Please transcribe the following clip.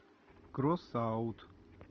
кросс аут